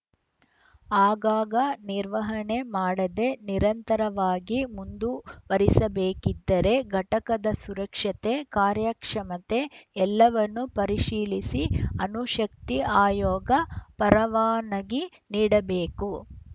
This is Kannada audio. ಆಗಾಗ ನಿರ್ವಹಣೆ ಮಾಡದೆ ನಿರಂತರವಾಗಿ ಮುಂದುವರಿಸಬೇಕಿದ್ದರೆ ಘಟಕದ ಸುರಕ್ಷತೆ ಕಾರ್ಯಕ್ಷಮತೆ ಎಲ್ಲವನ್ನೂ ಪರಿಶೀಲಿಸಿ ಅಣು ಶಕ್ತಿ ಆಯೋಗ ಪರವಾನಗಿ ನೀಡಬೇಕು